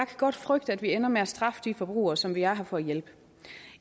godt frygte at vi ender med at straffe de forbrugere som vi er her for at hjælpe